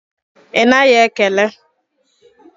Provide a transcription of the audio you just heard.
Ị naghị ekele?